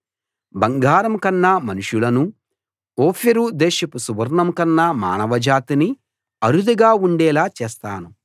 బంగారం కన్నా మనుషులనూ ఓఫీరు దేశపు సువర్ణం కన్నా మానవజాతినీ అరుదుగా ఉండేలా చేస్తాను